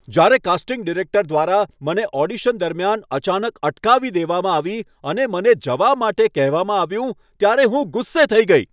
જ્યારે casting director દ્વારા મને ઓડિશન દરમિયાન અચાનક અટકાવી દેવામાં આવી અને મને જવા માટે કહેવામાં આવ્યું ત્યારે હું ગુસ્સે થઈ ગઈ.